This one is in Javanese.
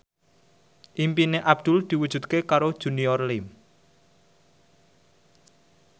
impine Abdul diwujudke karo Junior Liem